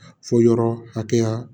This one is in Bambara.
Fɔ yɔrɔ hakɛya